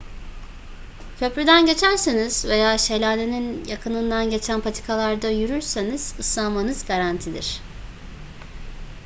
köprüden geçerseniz veya şelalenin yakınından geçen patikalarda yürürseniz ıslanmanız garantidir